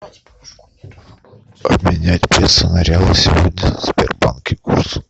обменять песо на реалы сегодня в сбербанке курс